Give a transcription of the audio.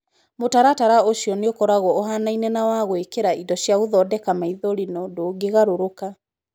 Mũtaratara ũcio nĩ ũkoragũo ũhaanaine na wa gũĩkĩra indo cia gũthondeka maithori no ndũngĩgarũrũka.